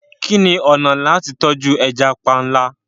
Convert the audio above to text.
Kí ni ọ̀nà tí a lè gbà tọ́jú ẹja panla?